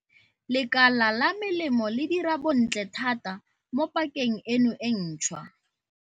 Lekala la melemo le dira bontle thata mo pakeng eno e ntšhwa.